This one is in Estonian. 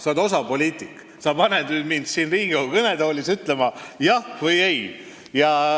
Sa oled osav poliitik, sa paned mind siin Riigikogu kõnetoolis ütlema jah või ei.